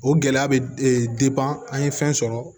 O gɛlɛya bɛ e an ye fɛn sɔrɔ